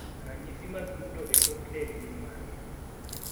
ranyisi mag dundo e chok del gin mage?